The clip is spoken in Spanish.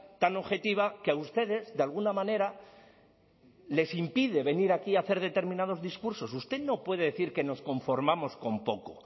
tan objetiva que a ustedes de alguna manera les impide venir aquí a hacer determinados discursos usted no puede decir que nos conformamos con poco